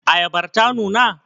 Ayabar ta nuna?